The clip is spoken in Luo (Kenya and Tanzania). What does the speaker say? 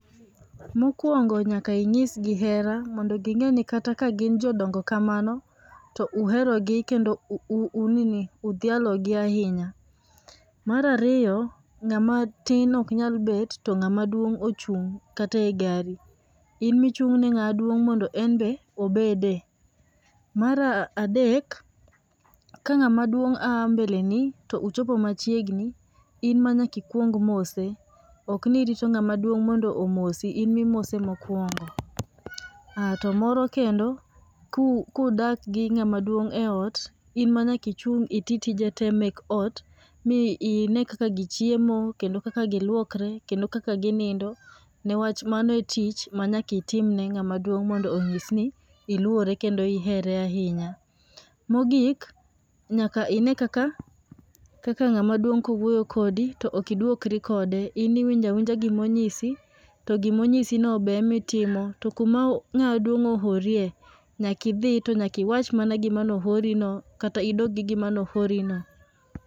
Mokuongo nyaka inyisgi hera mondo gingeni kata ka gin jodongo kamano to uherogi kendo u, u nini, udhialo gi ahinya. Mar ariyo ngama tin ok nyal bet to ngama duong ochung e gari, in michungne ne nga duong mondo en be obede. Mar adek ka ngama duong a mbeleni to ochopo machiegni, in manyaka ikuong mose ok ni irito ngama duong mondo omosi, in mimose mokuongo. To moro kendo kudak gi ngama duong e ot, in manyaka ichung itii tije tee mek ot, mi ine kaka jii chiemo kendo kaka giluokre kendo kaka ginindo newach mano e tich manyaka itim ne ngama duong mondo onyis ni iluore kendo ihere ahinya. Mogik nyaka ine kaka, kaka ngama duong kowuoyo kodi to ok iduokri kode in iwinjo awinja gima onyisi, to gima onyisni no be ema itimo to kuma nga duong oorie to nyaka idhi to nyaka iwach mana gimane oori no kata idog gi gima noori no